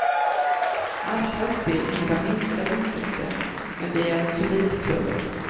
Allsvenskt spel innebär minskade intäkter, men vi är en solid klubb.